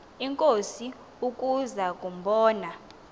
inkosi ukuza kumbona